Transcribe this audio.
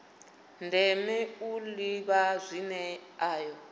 ndeme u ḓivha zwine ayo